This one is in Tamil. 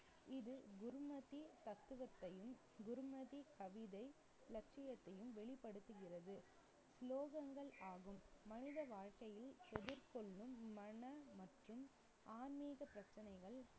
இது குருமதி தத்துவத்தையும், குருமதி கவிதை, இலட்சியத்தையும் வெளிப்படுத்துகிறது. ஸ்லோகங்கள் ஆகும் மனித வாழ்க்கையில் எதிர்கொள்ளும் மன மற்றும் ஆன்மீக பிரச்சனைகள்